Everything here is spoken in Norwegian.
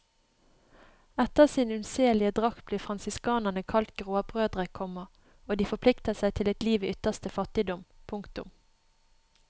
Etter sin unnselige drakt blir fransiskanerne kalt gråbrødre, komma og de forplikter seg til et liv i ytterste fattigdom. punktum